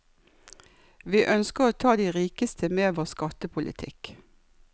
Vi ønsker å ta de rikeste med vår skattepolitikk.